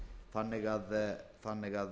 eða einstaklinga þannig að